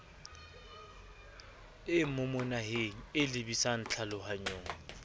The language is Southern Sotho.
e momohaneng e lebisang tlhalohanyong